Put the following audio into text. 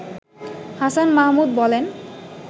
হাসান মাহমুদ বলেন